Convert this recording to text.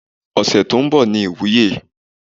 Ose tó ń bọ̀ ni ìwúye.